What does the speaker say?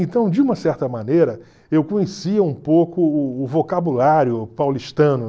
Então, de uma certa maneira, eu conhecia um pouco o o vocabulário paulistano.